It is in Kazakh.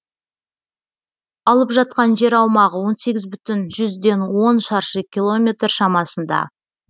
алып жатқан жер аумағы он сегіз бүтін жүзден он шаршы километр шамасында